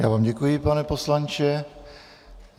Já vám děkuji, pane poslanče.